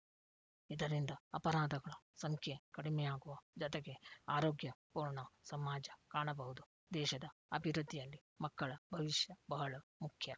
ಇದರಿಂದ ಅಪರಾಧಗಳ ಸಂಖ್ಯೆ ಕಡಿಮೆಯಾಗುವ ಜೊತೆಗೆ ಆರೋಗ್ಯ ಪೂರ್ಣ ಸಮಾಜ ಕಾಣಬಹುದು ದೇಶದ ಅಭಿವೃದ್ಧಿಯಲ್ಲಿ ಮಕ್ಕಳ ಭವಿಷ್ಯ ಬಹಳ ಮುಖ್ಯ